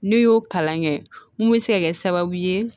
N'i y'o kalan kɛ mun bɛ se ka kɛ sababu ye